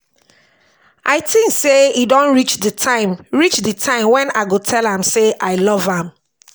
i think say e don reach the time reach the time wen i go tell am say i love am